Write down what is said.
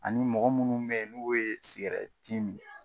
Ani mɔgɔ munnu be yen n'u ye sigɛrɛti mi.